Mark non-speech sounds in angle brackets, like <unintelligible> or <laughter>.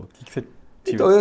O que que você. <unintelligible> Então eu